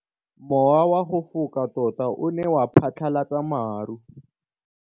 Mowa o wa go foka tota o ne wa phatlalatsa maru.